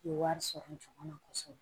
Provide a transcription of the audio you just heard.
U ye wari sɔrɔ juguman kosɛbɛ